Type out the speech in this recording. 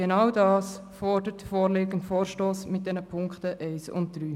Genau das fordert der vorliegende Vorstoss mit den Punkten 1 und 3.